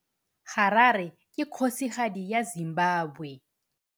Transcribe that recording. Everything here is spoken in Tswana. Harare ke kgosigadi ya Zimbabwe.